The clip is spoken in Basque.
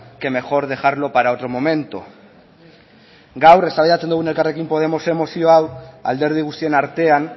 que mejor dejarlo para otro momento gaur eztabaidatzen dugu elkarrekin podemosen mozio hau alderdi guztion artean